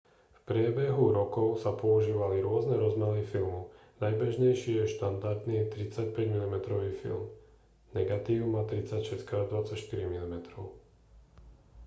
v priebehu rokov sa používali rôzne rozmery filmu. najbežnejší je štandardný 35 mm film negatív má 36x24 mm